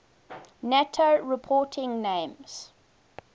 nato reporting names